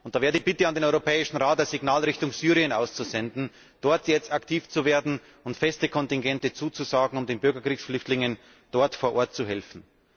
Da wäre die Bitte an den Europäischen Rat, ein Signal Richtung Syrien auszusenden, dort jetzt aktiv zu werden und feste Kontingente zuzusagen, um den Bürgerkriegsflüchtlingen vor Ort zu helfen.